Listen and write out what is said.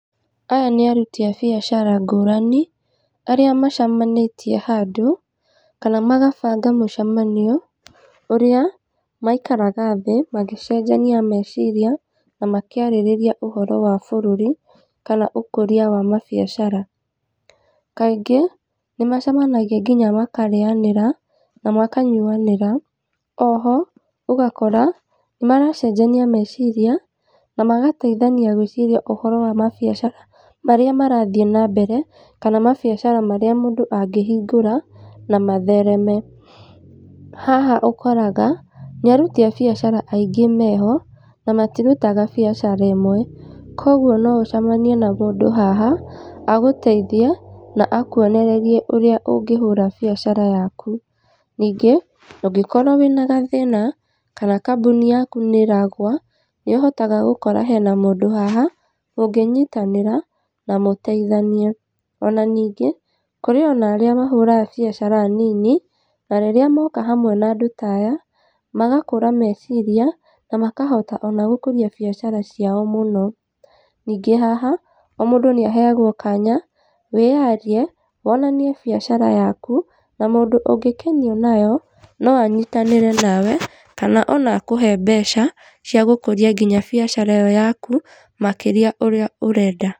Aya nĩ aruti a biacara ngũrani, arĩa macemanĩtie handũ, kana magabanga mũcemanio, ũrĩa maikaraga thĩ magĩcenjania meciria, na makĩarĩrĩria ũhoro wa bũrũri, kana ũkũria wa mabiacara. Kaingĩ, nĩ macemanagia nginya makarĩanĩra na makanyuamĩra, oho ũgakora nĩ maracenjania meciria, na magateithania gwĩciria ũhoro wa mabiacara marĩa marathiĩ na mbere, kana mabiacara marĩa mũndũ angĩhingũra, na mathereme. Haha ũkoraga, nĩ aruti a biacara aingĩ meho, na matirutaga biacara ĩmwe, koguo no ũcemenie na mũndũ haha, agũteithie na akuonererie ũrĩa ũngĩhũra biacara yaku, ningĩ, ũngĩkorwo wĩna gathĩna, kana kambuni yaku nĩ ĩragwa, nĩ ũhotaga gũkora hena mũndũ haha, mũngĩnyitanĩra na mũteithanie, ona ningĩ kũrĩ ona arĩa mahũra biacara nini, na rĩrĩa moka hamwe na andũ ta aya, magakũra meciria, na makahota ona gũkũria biacara ciao mũno. Ningĩ haha, o mũndũ nĩ aheagwo kanya mwĩyarie, wonanie biacara yaku, na mũndũ ũngĩkenio nĩyo, no anyitanĩre nawe, kana ona akũhe mbeca cia gũkũria nginya biacara ĩyo yaku, makĩria ũrĩa ũrenda.